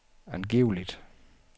angiveligt